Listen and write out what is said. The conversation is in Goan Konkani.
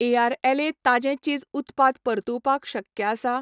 एआरएलए ताजें चीज उत्पाद परतुवपाक शक्य आसा?